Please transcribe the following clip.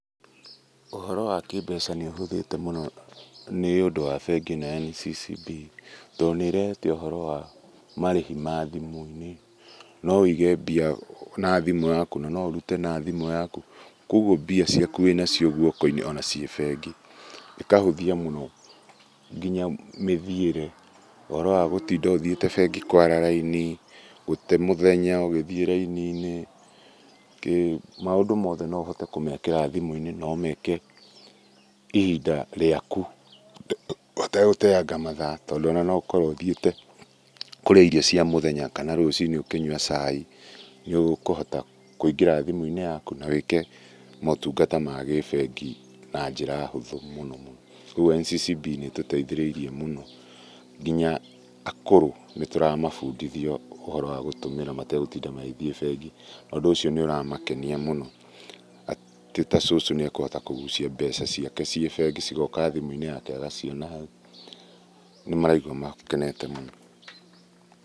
Ũhoro wa kĩmbeca nĩũhũthĩte mũno nĩũndũ wa bengi ino ya NCCB, tondũ nĩrehete ũhoro wa marĩhi ma thĩmũ-inĩ noũige mbia na thimũ yakũ na noũrute na thimũ yakũ, kogũo mbia ciakũ winacio gũoko-inĩ ona ciĩ bengi. ĩkahũthia mũno nginya mĩthiĩre, ũhoro wa gũtinda ũthiĩte bengi kwara raini, gũte mũthenya ũgĩthiĩ raini-inĩ, kĩ maũndũ mothe noũhote kũmekĩra thimũ-inĩ nomeke ihinda rĩaku ũtegũteanga mathaa tondu noũkorwo ũthiĩte kũrĩa irio cia mũthenya kana rũcinĩ ũkĩnyũa cai, nĩũkũhota kũingĩra thimũ yakũ nawĩke motũngata ma gibengi na njĩra hũthũ mũno mũno. Kogũo NCCB nĩtũteithĩrĩirie mũno nginya akũrũ nĩtũramabũndithia ũhoro wa gũtũmĩra mategũtinda magĩthie bengi na ũndũ ũcio nĩũramakenia mũno atĩ ta cucu nĩekũhota kũgũcia mbeca ciake ciĩ bengi cigoka thimũ-inĩ yake agaciona hau, nĩmaraigua makenete mũno.